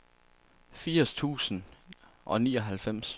firs tusind og nioghalvfems